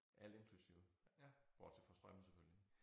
Alt inklusiv bortset fra strømmen selvfølgelig